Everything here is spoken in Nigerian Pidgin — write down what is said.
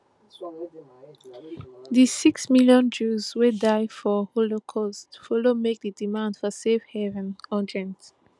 di six million jews wey die for holocaust follow make di demand for safe haven urgent